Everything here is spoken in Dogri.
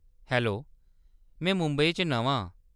हैलो, में मुंबई च नमां आं।